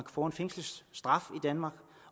at få en fængselsstraf i danmark